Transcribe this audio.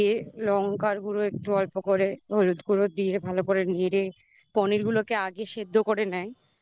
লঙ্কার গুঁড়ো একটু অল্প করে হলুদগুঁড়ো দিয়ে ভালো করে নেড়ে পনিরগুলোকে আগে সেদ্ধ করে নেয়।